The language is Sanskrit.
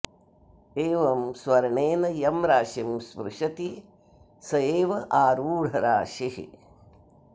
एवं स्वर्णेन यं राशिं स्पृशति स एव आरूढराशिः